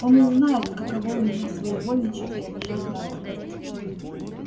он узнает каково у меня своевольничать и обижать народ